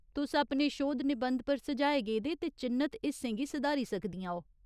तुस अपने शोध निबंध पर सुझाए गेदे ते चि'न्नत हिस्सें गी सुधारी सकदियां ओ।